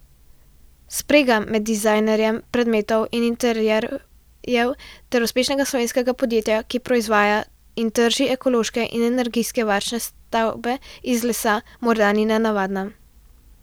Sprega med dizajnerjem predmetov in interierjev ter uspešnega slovenskega podjetja, ki proizvaja in trži ekološke in energijsko varčne stavbe iz lesa, morda ni nenavadna.